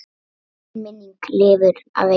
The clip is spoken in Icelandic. Þín minning lifir að eilífu.